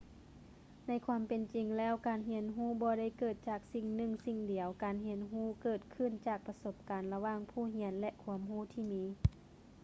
ໃນຄວາມເປັນຈິງແລ້ວ ການຮຽນຮູ້ບໍ່ໄດ້ເກີດຈາກສິ່ງໜຶ່ງສິ່ງດຽວ ການຮຽນຮູ້ເກີດຂຶ້ນຈາກປະສົບການລະຫວ່າງຜູ້ຮຽນ ແລະ ຄວາມຮູ້ທີ່ມີ